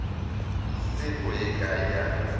se go ye kae ya